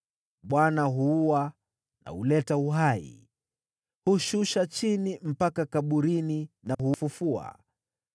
“ Bwana huua na huleta uhai, hushusha chini mpaka kaburini na hufufua.